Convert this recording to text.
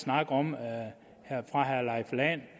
om fra herre leif lahn